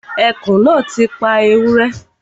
Ẹkùn náà ti pa ewúrẹ́